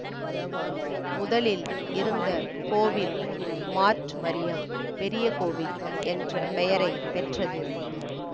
முதலில் இருந்த கோவில் மார்ட் மரியம் பெரிய கோவில் என்ற பெயரை பெற்றது